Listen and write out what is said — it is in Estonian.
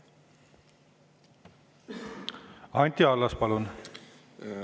Anti Allas, palun!